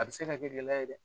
A bɛ se ka gɛlɛya ye dɛ.